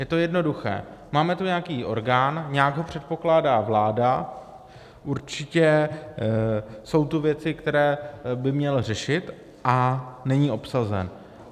Je to jednoduché: máme tu nějaký orgán, nějak ho předpokládá vláda, určitě jsou tu věci, které by měl řešit, a není obsazen.